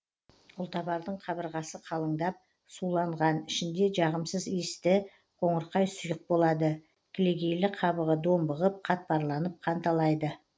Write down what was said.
ұлтабардың қабырғасы қалыңдап суланған ішінде жағымсыз иісті қоңырқай сұйық болады кілегейлі қабығы домбығып қатпарланып қанталайды